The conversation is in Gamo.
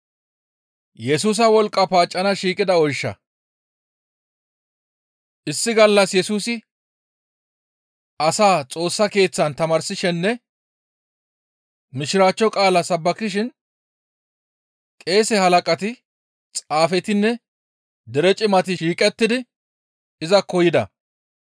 Issi gallas Yesusi asaa Xoossa Keeththan tamaarsishininne Mishiraachcho qaala sabbakishin qeese halaqati, xaafetinne dere Cimati shiiqettidi izakko yida.